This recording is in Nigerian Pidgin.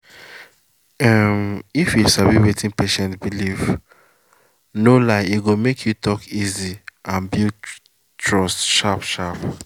um if you sabi wetin patient believe no lie e go make talk easy and build trust sharp sharp.